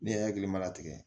Ne hakili ma latigɛ